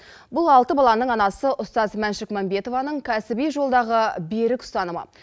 бұл алты баланың анасы ұстаз мәншүк мәмбетованың кәсіби жолдағы берік ұстанымы